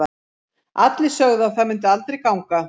Allir sögðu að það myndi aldrei ganga.